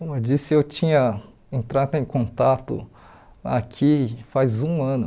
Como eu disse, eu tinha entrado em contato aqui faz um ano.